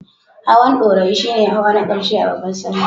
Hawan Ɗorayi shi ne hawa na ƙarshe a babbar Sallah.